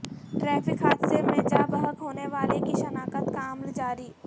traffic حادثے میں جاں بحق ہونےوالے کی شناخت کا عمل جاری